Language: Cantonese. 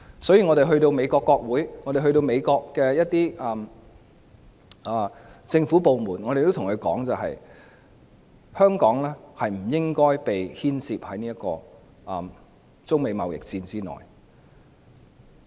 所以，我們到訪美國國會及一些政府部門時，也對他們說香港不應該被牽涉在中美貿易戰之內。